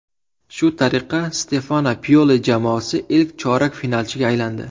Shu tariqa Stefano Pioli jamoasi ilk chorak finalchiga aylandi.